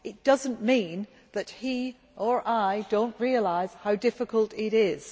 That does not mean that he or I do not realise how difficult it is.